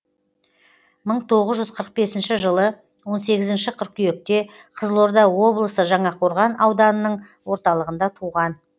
мың тоғыз жүз қырық бесінші жылы он сегізінші қыркүйекте қызылорда облысы жаңақорған ауданының орталығында туған